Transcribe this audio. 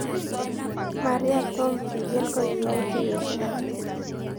Maria tom kigen kogiyai tuyosiek ata